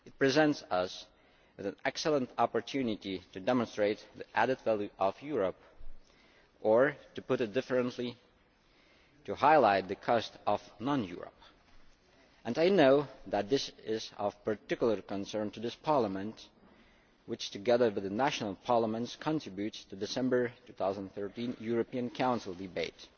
It presents us with an excellent opportunity to demonstrate the added value of Europe, or to put it differently to highlight the cost of non Europe. And I know that this is of particular concern to this Parliament which, together with national parliaments, contributes to the December 2013 European Council debate.